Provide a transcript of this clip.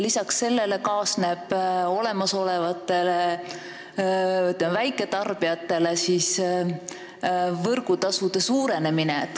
Lisaks sellele kaasneb olemasolevatele väiketarbijatele võrgutasude suurenemine.